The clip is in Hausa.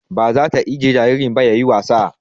Ba zata ajjiye jaririn ba yayi wasa